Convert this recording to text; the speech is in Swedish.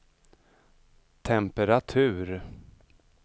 temperatur